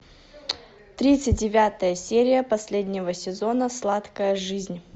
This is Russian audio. тридцать девятая серия последнего сезона сладкая жизнь